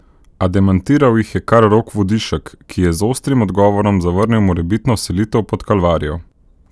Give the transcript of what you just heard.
A demantiral jih je kar Rok Vodišek, ki je z ostrim odgovorom zavrnil morebitno selitev pod Kalvarijo.